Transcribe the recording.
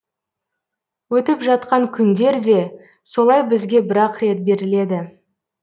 өттіп жатқан күндер де солай бізге бірақ рет беріледі